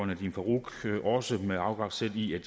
nadeem farooq også med afsæt i at